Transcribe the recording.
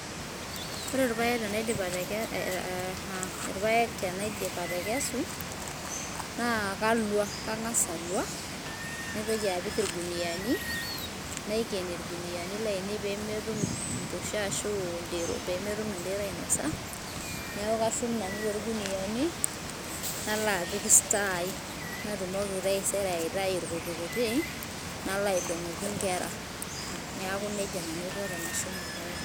Ore irpaek tenaidip atekesu naa kalua kang`as alua naitoki apik irkuniani naiken irkuniani laine pee metum mpusha ashu aa pee metum idero ainosa niaku kashum nanu too ilkuniani nalo pik store ai natumoki taisere aitayu irkutik kutik nalo aidong`oki nkera niaku nejia nanu aiko tenashum irpaek lainei.